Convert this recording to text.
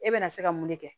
E bɛna se ka mun de kɛ